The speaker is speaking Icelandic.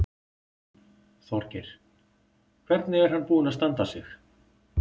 Þorgeir: Hvernig er hann búinn að standa sig?